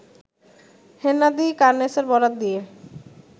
হেন্নাদি কার্নেসের বরাত দিয়ে